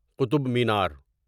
Qutub Minar